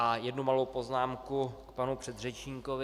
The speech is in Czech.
A jednu malou poznámku k panu předřečníkovi.